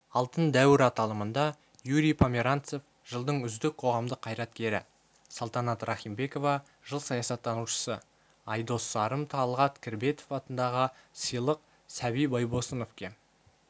алтын дәуір аталымында юрий померанцев жылдың үздік қоғамдық қайраткері салтанат рахимбекова жыл саясаттанушысы айдос сарым талғат кірбетов атындағы сыйлық сәби байбосыновке